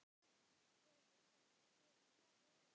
Hefur þetta gefið góða raun?